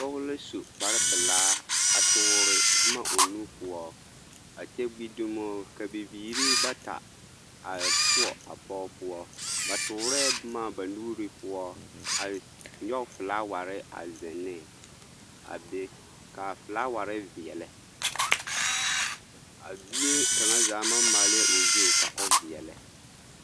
Pɔge la su kpare pelaa a toore boma o nu poɔ a kyɛ gbi dumo ka bibiiri bata a poɔ a pɔge poɔ, ba toorɛɛ boma ba nuuri poɔ a nyɔge felaaware a zeŋ ne a be k'a felaaware veɛlɛ, a bie kaŋa zaa maŋ maalɛɛ o zu ka o veɛlɛ.